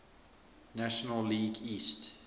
national league east